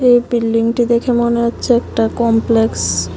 এই বিল্ডিংটি দেখে মনে হচ্ছে একটা কমপ্লেক্স ।